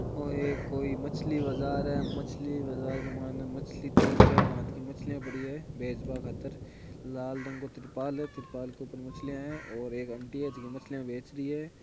ओ एक कोई मछली बज़ार है मछली बाज़ार के मायने मछली तीन चार बांथ की मछलियाँ पड़ी है बेच बा खातिर लाल रंग को त्रिपाल है त्रिपाल के ऊपर मछलियाँ है और एक अंटी है जीके मछलियाँ बेच री है।